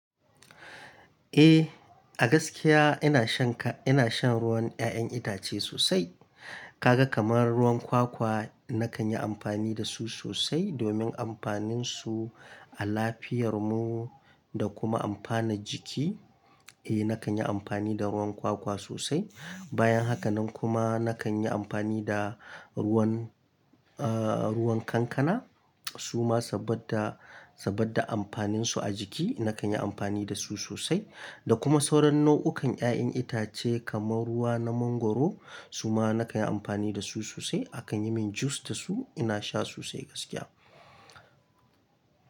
Eh, a gaskiya ina shan ka-- ina shan ruwan 'ya'yan itace sosai. Kaga kamar ruwan kwakwa, nakan yi amfani da su sosai domin amfaninsu a lafiyar mu da kuma amfanar jiki. Eh, nakan yi amfani da ruwan kwakwa sosai. Bayan haka nan kuma nakan yi amfani da ruwan, ruwan kankana. Su ma saboda, saboda amfaninsu a jiki, nakan yi amfani da su sosai. Da kuma sauran nau'ukan 'ya'yan itace kamar ruwa na mangwaro, su ma nakan yi amfani da su sosai. Akan yi min juice da su ina sha sosai gaskiya.